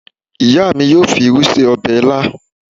Ìyá mi yóò fi irú ṣe ọbẹ̀ ilá